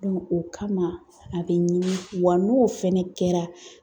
o kama a bɛ ɲini , wa n'o fɛnɛ kɛra.